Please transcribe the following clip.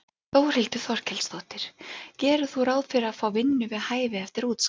Þórhildur Þorkelsdóttir: Gerir þú ráð fyrir að fá vinnu við hæfi eftir útskrift?